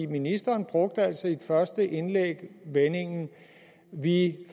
ministeren brugte altså i det første indlæg vendingen vi